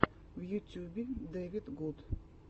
в ютюбе дэвидгуд